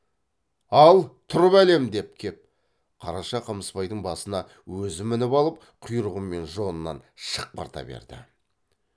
ал тұр бәлем деп кеп қараша қамысбайдың басына өзі мініп алып құйрығы мен жонынан шықпырта берді